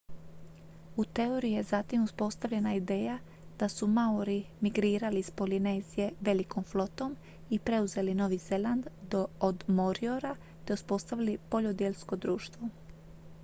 u teoriji je zatim uspostavljena ideja da su maori migrirali iz polinezije velikom flotom i preuzeli novi zeland od moriora te uspostavili poljodjelsko društvo